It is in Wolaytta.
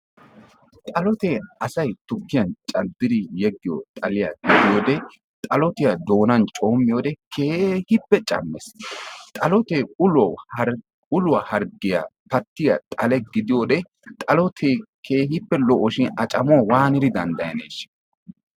Xalotee asay tukkiyan caddidi yegiyo xaliya gidiyoode, xalotiya doonan coommiyode keehippe cammees. Xalotee uluwa hargiya pattiya xale gidiyoode, xalotee keehippe lo'o shin a camuwa watidi dandayaneesha.